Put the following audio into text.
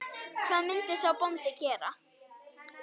Hvað myndi sá bóndi gera?